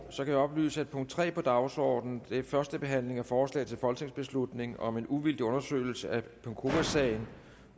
så kan jeg oplyse at punkt tre på dagsordenen og det er første behandling af forslag til folketingsbeslutning om en uvildig undersøgelse af penkowasagen